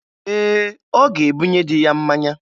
Ee, ọ ga-ebunye dị ya mmanya